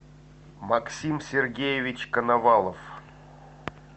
максим сергеевич коновалов